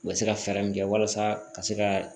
U bɛ se ka fɛɛrɛ min kɛ walasa ka se ka